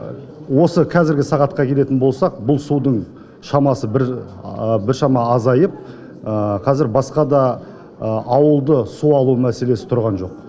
осы қазіргі сағатқа келетін болсақ бұл судың шамасы біршама азайып қазір басқа да ауылды су алу мәселесі тұрған жоқ